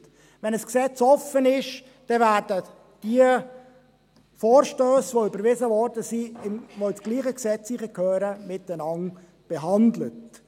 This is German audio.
Wenn ein Gesetz offen ist, werden die Vorstösse, welche überwiesen wurden und in dasselbe Gesetz hineingehören, miteinander behandelt.